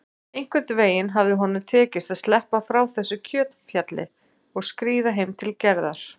Einhvern veginn hafði honum tekist að sleppa frá þessu kjötfjalli og skríða heim til Gerðar.